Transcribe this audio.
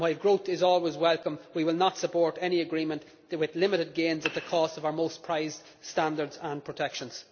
While growth is always welcome, we will not support any agreement with limited gains at the cost of our most prized standards and protections.